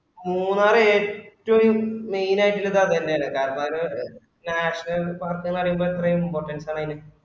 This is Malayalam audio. മൂന്നാർ ഏറ്റ്വും main ആയിട്ട് അതെന്നാണ് കാരനന്താണ് നാഷണൽ പാർക്ക് പറയുമ്പൊ എത്ര importance ആണ് അയിന്.